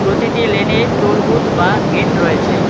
প্রতিটি লেনে toll booth বা গেট রয়েছে।